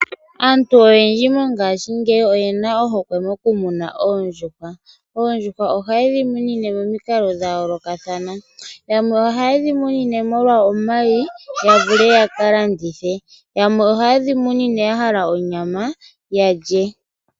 Aantu oyendji mongayingeyi oyena ohokwe moku muna oondjuhwa. Oondjuhwa oha yedhi munine momikalo dha yoolokatha yamwe oha yedhi munine molwa omayi ya vule yaka landithe. Yamwe oha yedhi munine onyama yalye.